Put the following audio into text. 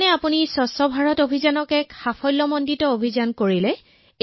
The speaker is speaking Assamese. আপুনি স্বচ্ছ ভাৰত অভিযানক এক সফল অভিযানত পৰিণত কৰিছে